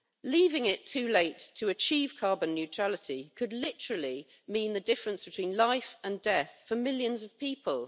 Leaving it too late to achieve carbon neutrality could literally mean the difference between life and death for millions of people.